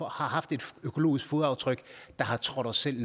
haft et økologisk fodaftryk der har trådt os selv